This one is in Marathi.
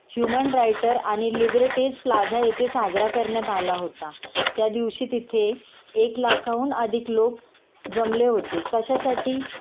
ह्यूमन रायटर आणि लिबर्टीझ प्लाझा येथे साजरा करण्यात आला होता.त्यादिवशी तिथे एक लाखाहून अधिक लोक जमले होते कशासाठी?